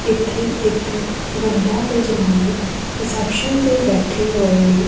ਜਿੱਥੇ ਇੱਕ ਬੰਦਾ ਤੇ ਜਨਾਨੀ ਇਸੈਪਸ਼ਨ ਤੇ ਬੈਠੇ ਹੋਏ ਨੇ।